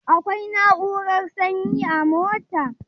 Akwai na'urar sanyi a motar?